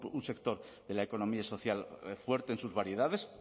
un sector de la economía social fuerte en sus variedades